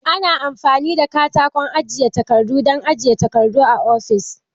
Ana amfani da katakon ajiye takardu don ajiyan takardun ofis.